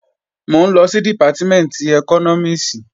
Mò ń lọ sí Dìpátímẹ̀ntì ẹkọ́nọ́mìs